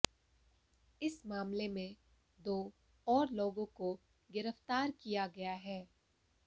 इस मामले में दो और लोगों को गिरफ्तार किया गया है